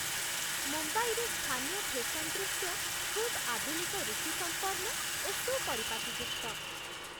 ମୁମ୍ବାଇରେ ସ୍ଥାନୀୟ ଫେସନ୍ ଦୃଶ୍ୟ ଖୁବ୍ ଆଧୁନିକ ରୁଚି ସମ୍ପନ୍ନ ଓ ସୁପରିପାଟୀଯୁକ୍ତ